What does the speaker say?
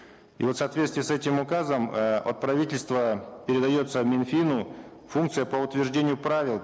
и вот в соответствии с этим указом э от правительства передается минфину функция по утверждению правил